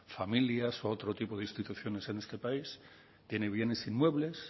familias u otro tipo de instituciones en este país tiene bienes inmuebles